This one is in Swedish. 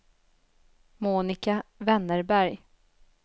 Monica Wennberg